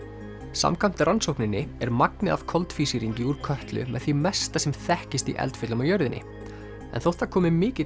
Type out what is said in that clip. samkvæmt rannsókninni er magnið af koltvísýringi úr Kötlu með því mesta sem þekkist í eldfjöllum á jörðinni en þótt það komi mikill